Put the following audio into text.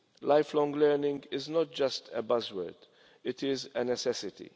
Lifelong learning is not just a buzzword. It is a necessity.